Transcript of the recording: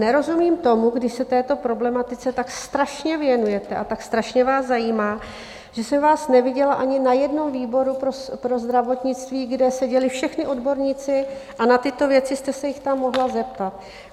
Nerozumím tomu, když se této problematice tak strašně věnujete a tak strašně vás zajímá, že jsem vás neviděla ani na jednom výboru pro zdravotnictví, kde seděli všichni odborníci a na tyto věci jste se jich tam mohla zeptat.